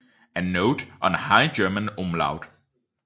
A Note on High German Umlaut